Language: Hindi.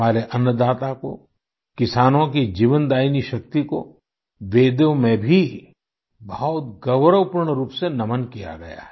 हमारे अन्नदाता को किसानों की जीवनदायिनी शक्ति को तो वेदों में भी बहुत गौरवपूर्ण रूप से नमन किया गया है